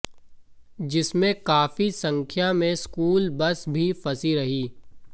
जिसमें काफी संख्या में स्कूल बस भी फंसी रहीं